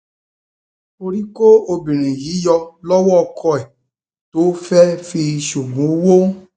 orí kó obìnrin um yìí yọ lọwọ ọkọ ẹ tó fẹẹ fi í um ṣoògùn owó